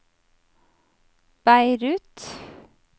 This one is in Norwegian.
Beirut